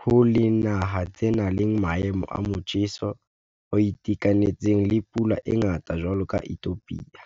ho le naha tse nang le maemo a motjheso o itekanetseng, le pula e ngata jwalo ka ithopia.